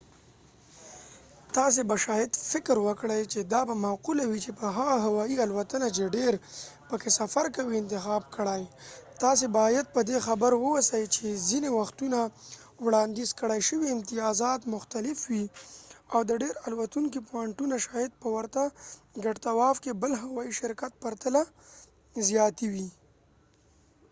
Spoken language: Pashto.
تاسې به شاید فکر وکړئ چې دا به معقوله وي چې هغه هوایی الوتنه چې ډیر پکې سفر کوئ انتخاب کړئ تاسې باید پر دې خبر واوسئ چې ځینې وختونه وړاندیز کړای شوي امتیازات مختلف وي او د ډیر الوتونکي پوانټونه شاید په ورته ګډ تواف کې بل هوایي شرکت په پرتله زیاتې وي